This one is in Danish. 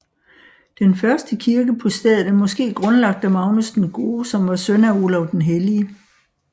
Den første kirke på stedet er måske grundlagt af Magnus den Gode som var søn af Olav den Hellige